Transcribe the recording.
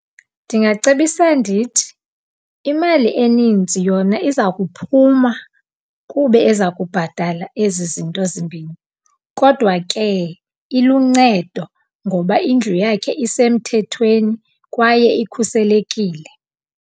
Ndingacebisa ndithi, imali enintsi yona iza kuphuma kube eza kubhatala ezi zinto zimbini. Kodwa ke, iluncedo ngoba indlu yakhe isemthethweni kwaye ikhuselekile.